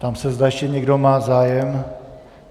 Ptám se, zda ještě někdo má zájem.